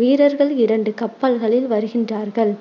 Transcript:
வீரர்கள் இரண்டு கப்பல்களில் வருகின்றார்கள்.